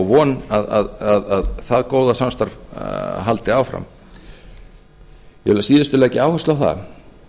vonum að það góða samstarf haldi áfram ég vil að síðustu leggja áherslu á það